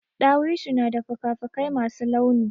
Ɗawisu na da fuka fuƙai masu launi.